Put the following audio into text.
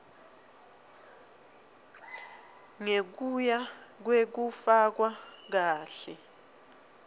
ngekuya kwekufakwa kahle